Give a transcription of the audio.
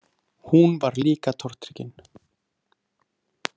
Hún var líka tortryggin.